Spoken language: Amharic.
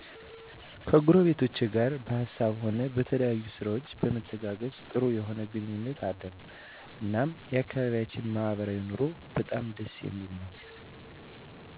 ከጎረቤቶቼ ጋር በሀሳብም ሆነ በተለያየ ስራዎች በመተጋገዝ ጥሩ የሆነ ግንኙነት አለን እናም የአከባቢያችን ማህበራዊ ኑሮ በጣም ደስ የሚል ነወ።